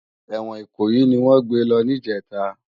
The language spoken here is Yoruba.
Èwòn Ikoyi niwòn gbé lò nijètá